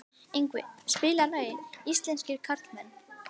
Yngvi, spilaðu lagið „Íslenskir karlmenn“.